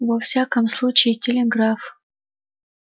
во всяком случае телеграф